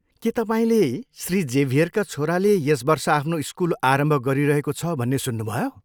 के तपाईँले श्री जेभियरका छोराले यस वर्ष आफ्नो स्कुल आरम्भ गरिरहेको छ भन्ने सुन्नुभयो?